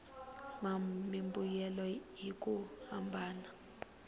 mimbuyelo hi ku hambana ka